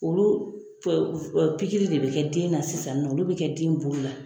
Olu pikiri de bɛ kɛ den na sisan nɔn olu bɛ kɛ den bolo la.